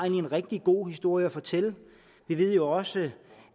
en rigtig god historie fortælle vi ved jo også